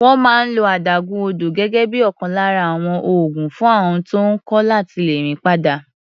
Wọ́n máa ń lo adágún odò gẹ́gẹ́ bí ọ̀kan lára àwọn oògùn fún àọn tó ń kọ́ láti lè rìn padà.